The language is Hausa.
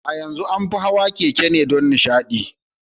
A yanzu an fi an fi hawa keke don nishaɗi.